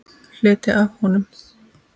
Hluti af honum.